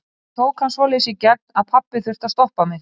Ég tók hann svoleiðis í gegn að pabbi þurfti að stoppa mig.